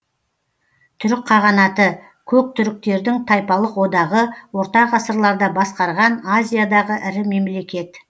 түрік қағанаты көк түріктердің тайпалық одағы орта ғасырларда басқарған азиядағы ірі мемлекет